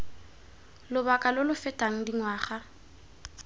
lobaka lo lo fetang dingwaga